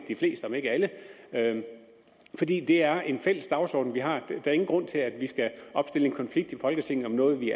de fleste om ikke alle fordi det er en fælles dagsorden vi har der er ingen grund til at vi skal opstille en konflikt i folketinget om noget vi